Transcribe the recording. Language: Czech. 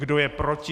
Kdo je proti?